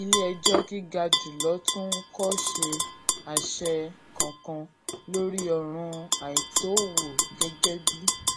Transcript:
ilé ẹjọ gíga jù lọ tún kò ṣe àṣẹ kankan lórí òràn àìtó owó gẹ́gẹ́ bí